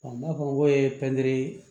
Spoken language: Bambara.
n'a fɔ n ko ye pɛntiri